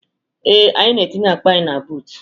Ee, anyị na-etinye akpa anyị na buutu.